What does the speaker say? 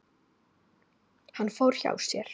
Hann fór hjá sér.